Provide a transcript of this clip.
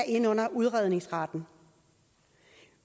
ind under udredningsretten